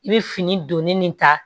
I bɛ fini donni nin ta